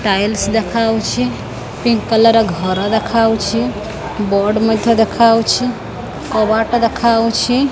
Tiles ଦେଖାଯାଉଛି pink colour ର ଘର ଦେଖାହଉଛି ବୋର୍ଡ଼ ମଧ୍ୟ ଦେଖାହଉଛି କବାଟ ଦେଖାହଉଛି।